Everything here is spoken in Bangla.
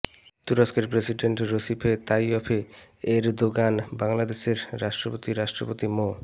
তুরস্কের প্রেসিডেন্ট রসিপে তাইয়ফে এরদোগান বাংলাদেশের রাষ্ট্রপতি রাষ্ট্রপতি মো